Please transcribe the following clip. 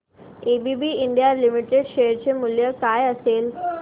ABB India limited share चे मूल्य काय असेल